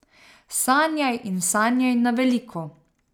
Sanjaj in sanjaj na veliko!